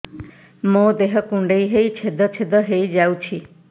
ମୋ ଦେହ କୁଣ୍ଡେଇ ହେଇ ଛେଦ ଛେଦ ହେଇ ଯାଉଛି